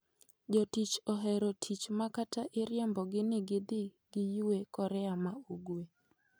Jotich ohero tich ma kata iriembogi ni gidhi giyue Korea ma ugwe.